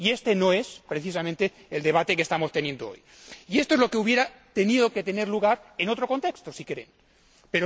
Y este no es, precisamente, el debate que estamos teniendo hoy, que hubiera tenido que tener lugar en otro contexto, pero no hoy, ni aquí, ni ahora.